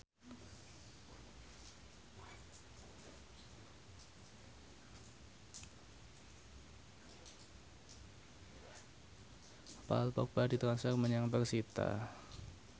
Paul Dogba ditransfer menyang persita